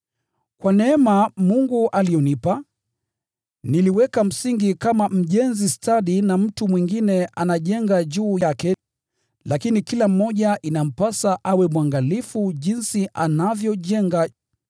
Kwa neema Mungu aliyonipa, niliweka msingi kama mjenzi stadi na mtu mwingine anajenga juu yake. Lakini kila mmoja inampasa awe mwangalifu jinsi anavyojenga.